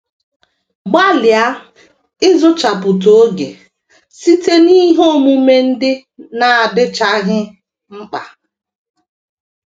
Gbalịa ‘ ịzụchapụta oge ’ site n’ihe omume ndị na - adịchaghị mkpa.